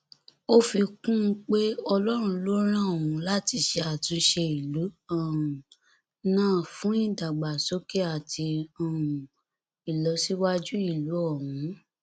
ó fi kún un pé ọlọrun ló rán òun láti ṣe àtúnṣe ìlú um náà fún ìdàgbàsókè àti um ìlọsíwájú ìlú ọhún